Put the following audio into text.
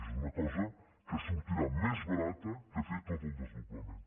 és una cosa que sortirà més barata que fer tot el desdoblament